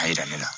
A yira ne la